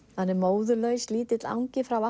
móðurlaus lítill angi frá